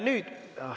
Nüüd ...